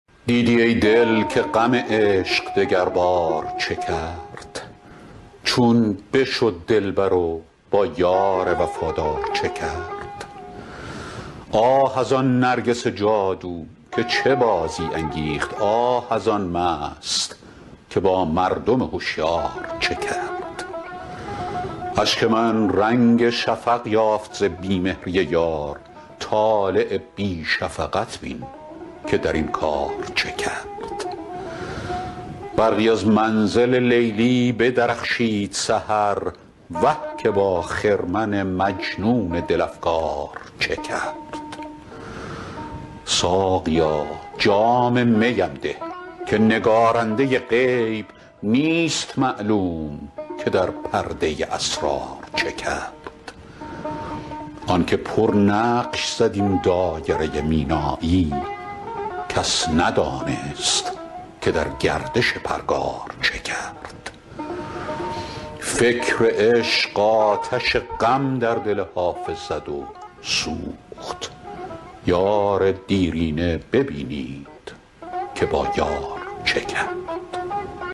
دیدی ای دل که غم عشق دگربار چه کرد چون بشد دلبر و با یار وفادار چه کرد آه از آن نرگس جادو که چه بازی انگیخت آه از آن مست که با مردم هشیار چه کرد اشک من رنگ شفق یافت ز بی مهری یار طالع بی شفقت بین که در این کار چه کرد برقی از منزل لیلی بدرخشید سحر وه که با خرمن مجنون دل افگار چه کرد ساقیا جام می ام ده که نگارنده غیب نیست معلوم که در پرده اسرار چه کرد آن که پرنقش زد این دایره مینایی کس ندانست که در گردش پرگار چه کرد فکر عشق آتش غم در دل حافظ زد و سوخت یار دیرینه ببینید که با یار چه کرد